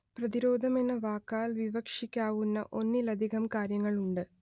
പ്രതിരോധം എന്ന വാക്കാൽ വിവക്ഷിക്കാവുന്ന ഒന്നിലധികം കാര്യങ്ങളുണ്ട്